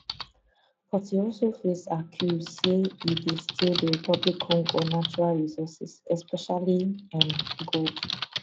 but e dey also face accuse say e dey steal dr congo natural resources especially um gold